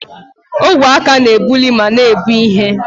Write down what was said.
Ogwe aka na-ebuli ma na-ebu ihe.